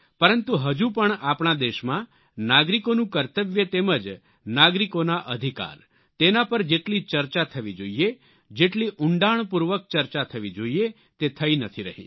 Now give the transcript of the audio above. પરંતુ હજુ પણ આપણા દેશમાં નાગરિકોનું કર્તવ્ય તેમજ નાગરિકોના અધિકાર તેના પર જેટલી ચર્ચા થવી જોઈએ જેટલી ઉંડાણપૂર્વક ચર્ચા થવી જોઈએ તે થઈ નથી રહી